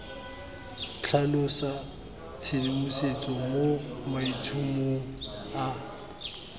tlhalosa tshedimosetso mo maitlhomong a